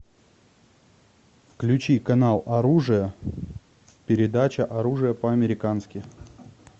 включи канал оружие передача оружие по американски